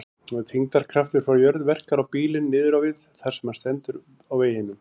Þyngdarkraftur frá jörð verkar á bílinn niður á við þar sem hann stendur á veginum.